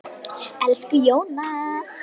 Elsku Jóna.